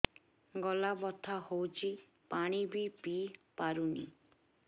ଗଳା ବଥା ହଉଚି ପାଣି ବି ପିଇ ପାରୁନି